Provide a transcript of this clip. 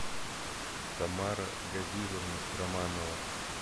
тамара газизовна романова